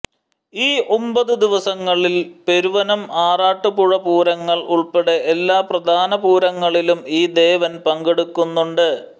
ഈ ഒമ്പത് ദിവസങ്ങളിൽ പെരുവനംആറാട്ടുപുഴപൂരങ്ങൾ ഉൾപ്പെടെ എല്ലാ പ്രധാന പൂരങ്ങളിലും ഈ ദേവൻ പങ്കെടുക്കുന്നുണ്ട്